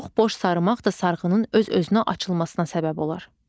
Çox boş sarımaq da sarğının öz-özünə açılmasına səbəb olar.